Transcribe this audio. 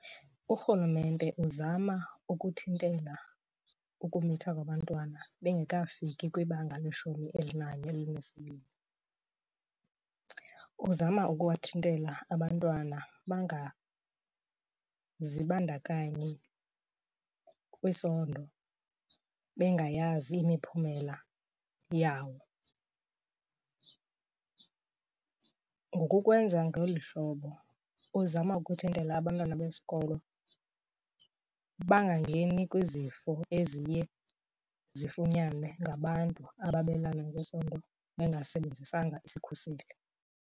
Urhulumente uzama ukuthintela ukumitha kwabantwana bengekafiki kwibanga leshumi elinesibini. Uzama ukuwathintela abantwana bangazibandakanyi kwisondo bengayazi imiphumela yawo. Ngokukwenza ngeli hlobo uzama ukuthintela abantwana besikolo bangangeni kwizifo eziye zifunyanwe ngabantu ababelana ngesondo bangasebenzisanga sikhuseli.